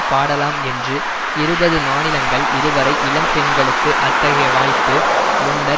பாடலாம் என்று இருபது மாநிலங்களில் இதுவரை இளம் பெண்களுக்கு அத்தகைய வாய்ப்பு முன்னர்